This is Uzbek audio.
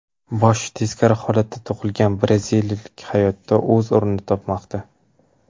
Boshi teskari holatda tug‘ilgan braziliyalik hayotda o‘z o‘rnini topmoqda.